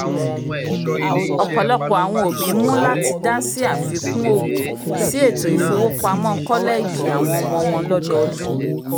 ọpọlọpọ awọn obi mú lati dasi àfikún òwò si ètó ifowopamọ kọlẹẹjì awọn ọmọ wọn lọ́dọọdún